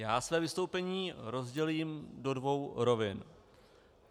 Já své vystoupení rozdělím do dvou rovin.